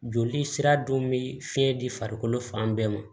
Joli sira dun bɛ fiɲɛ di farikolo fan bɛɛ ma